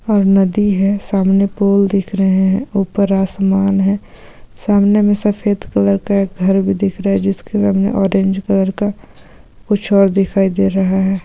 और नदी हैं सामने पूल दिख रहे हैं ऊपर आसमान हेे सामने में सफ़ेद कलर का एक घर भी दिख रहा हैं जिसके सामने ऑरेंज कलर का कुछ और दिखाई दे रहा हैं।